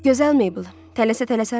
Gözəl Meybl, tələsə-tələsə hara gedirsiz?